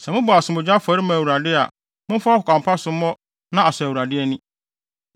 “ ‘Sɛ mobɔ asomdwoe afɔre ma Awurade a momfa ɔkwan pa so mmɔ na asɔ Awurade ani.